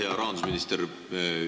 Hea rahandusminister!